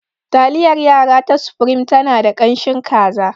Taliyar yara ta supreme tana da ƙanshin kaza.